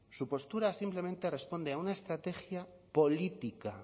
su postura simplemente responde a una estrategia política